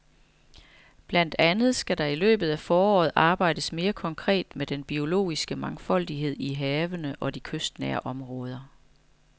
Blandt andet skal der i løbet af foråret arbejdes mere konkret med den biologiske mangfoldighed i havene og i de kystnære områder.